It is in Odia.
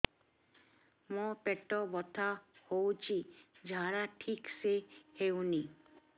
ମୋ ପେଟ ବଥା ହୋଉଛି ଝାଡା ଠିକ ସେ ହେଉନି